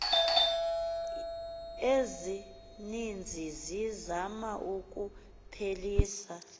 ezininzi zizama ukuphelisa